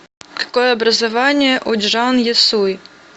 какое образование у чжан есуй